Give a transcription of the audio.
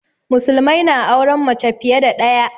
Musulmai na auren mace fiye da ɗaya